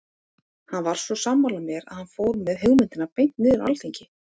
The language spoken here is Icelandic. Hann var svo sammála mér að hann fór með hugmyndina beint niður á alþingi.